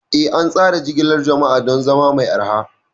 Eh, an tsara jigilar jama'a don zama mai arha.